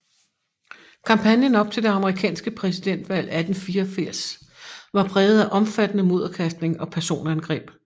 Kampagnen op til det amerikanske præsidentvalg 1884 var præget af omfattende mudderkastning og personangreb